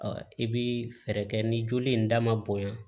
i bi fɛɛrɛ kɛ ni joli in da ma bonya